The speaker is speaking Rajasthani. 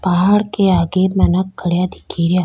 पहाड़ के आगे मानक खड़ा दिख रिया।